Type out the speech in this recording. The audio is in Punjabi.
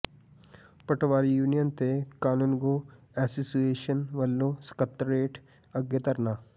ਪਟਵਾਰੀ ਯੂਨੀਅਨ ਤੇ ਕਾਨੂੰਗੋ ਐਸੋਸੀਏਸ਼ਨ ਵੱਲੋਂ ਸਕੱਤਰੇਤ ਅੱਗੇ ਧਰਨਾ